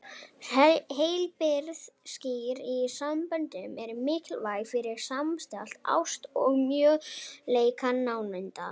Heilbrigð, skýr mörk í samböndum eru mikilvæg fyrir samstillta ást og möguleika nándar.